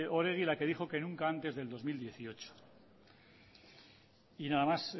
oregi la que dijo que nunca antes del dos mil dieciocho y nada más